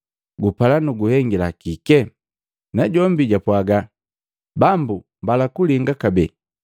“Gupala nu guhengila kike?” Najombi japwaaga, “Bambu, mbala kulinga kabee.”